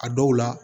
A dɔw la